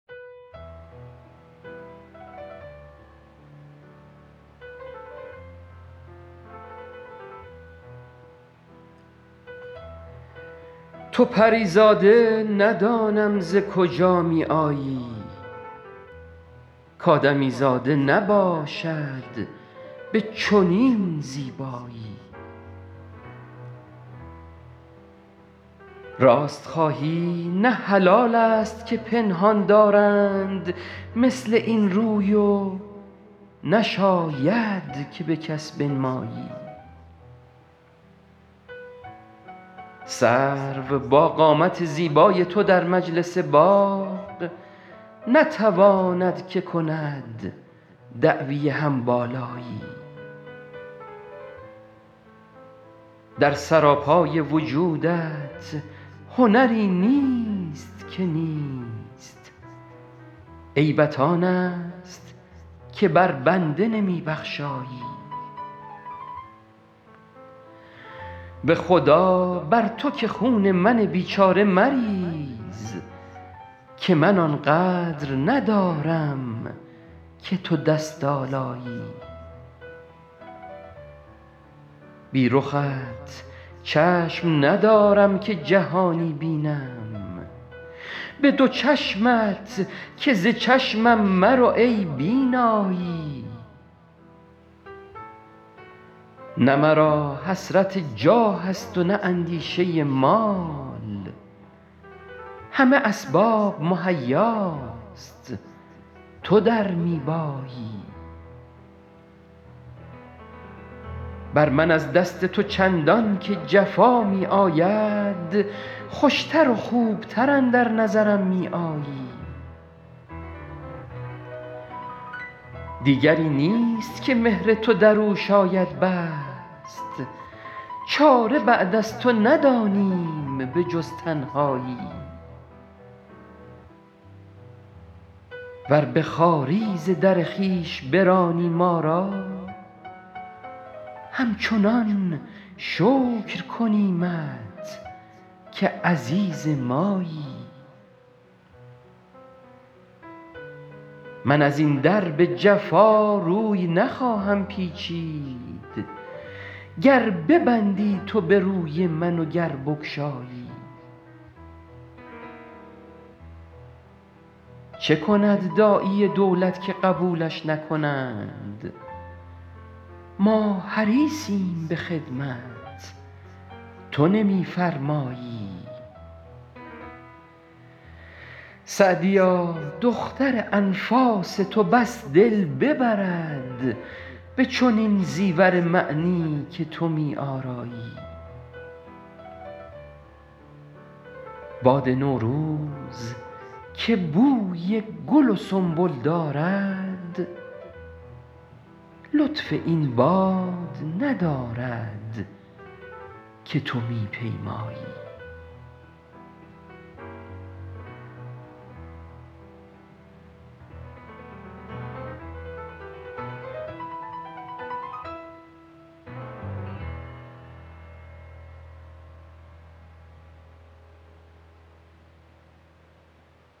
تو پری زاده ندانم ز کجا می آیی کآدمیزاده نباشد به چنین زیبایی راست خواهی نه حلال است که پنهان دارند مثل این روی و نشاید که به کس بنمایی سرو با قامت زیبای تو در مجلس باغ نتواند که کند دعوی هم بالایی در سراپای وجودت هنری نیست که نیست عیبت آن است که بر بنده نمی بخشایی به خدا بر تو که خون من بیچاره مریز که من آن قدر ندارم که تو دست آلایی بی رخت چشم ندارم که جهانی بینم به دو چشمت که ز چشمم مرو ای بینایی نه مرا حسرت جاه است و نه اندیشه مال همه اسباب مهیاست تو در می بایی بر من از دست تو چندان که جفا می آید خوش تر و خوب تر اندر نظرم می آیی دیگری نیست که مهر تو در او شاید بست چاره بعد از تو ندانیم به جز تنهایی ور به خواری ز در خویش برانی ما را همچنان شکر کنیمت که عزیز مایی من از این در به جفا روی نخواهم پیچید گر ببندی تو به روی من و گر بگشایی چه کند داعی دولت که قبولش نکنند ما حریصیم به خدمت تو نمی فرمایی سعدیا دختر انفاس تو بس دل ببرد به چنین زیور معنی که تو می آرایی باد نوروز که بوی گل و سنبل دارد لطف این باد ندارد که تو می پیمایی